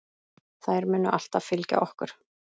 Þær munu alltaf fylgja okkur.